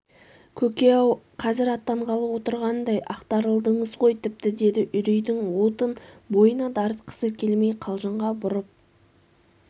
көке-ау қазр аттанғалы отырғандай ақтарылдыңыз ғой тіпті деді үрейдің уытын бойына дарытқысы келмей қалжыңға бұрып